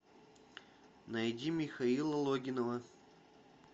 найди михаила логинова